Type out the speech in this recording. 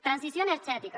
transició energètica